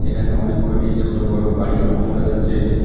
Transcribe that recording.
এখানে অনেক কয়টি ছোটো বড়ো বাড়ি লক্ষ করা যাচ্ছে।